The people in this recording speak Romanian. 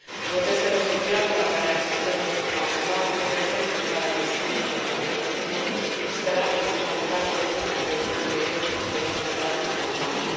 Protestele sociale la care asistăm în ultima perioadă reflectă starea de spirit a cetățenilor, disperați că sunt obligați să înfrunte greutățile iernii cu venituri drastic diminuate.